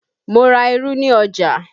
Mo ra irú ni ọjà